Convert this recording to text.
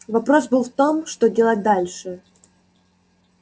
вопрос был в том что делать дальше